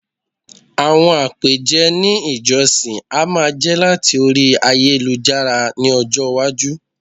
àwọn apeje il ìjósìn a máa je lati Orí ayélujára ní ọjọ iwaju